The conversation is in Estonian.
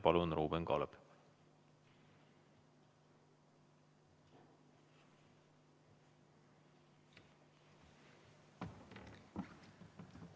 Palun, Ruuben Kaalep!